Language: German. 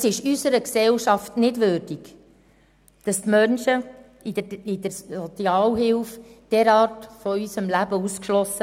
Es ist unserer Gesellschaft nicht würdig, Menschen mit Sozialhilfe derart von unserem Leben auszuschliessen.